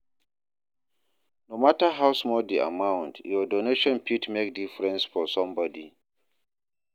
No matter how small the amount, your donation fit make difference for somebody.